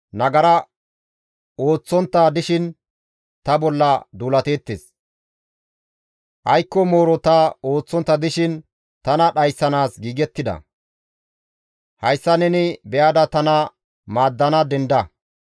Aykko mooro ta ooththontta dishin tana dhayssanaas giigettida; hayssa neni be7ada tana maaddana denda.